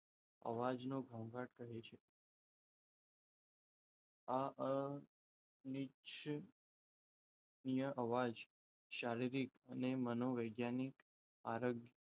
અવાજને ઘોંઘાટ કહે છે. આ અનિચ્છનીય અવાજ શારીરિક અને મનોવૈજ્ઞાનિક આરોગ્ય,